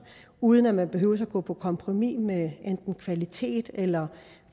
uden at man behøver at gå på kompromis med enten kvaliteten eller